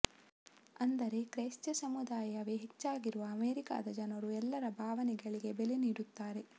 ಅಂದರೆ ಕ್ರೈಸ್ತ ಸಮುದಾಯವೇ ಹೆಚ್ಚಾಗಿರುವ ಅಮೇರಿಕಾದ ಜನರು ಎಲ್ಲರ ಭಾವನೆಗಳಿಗೆ ಬೆಲೆ ನೀಡುತ್ತಾರೆ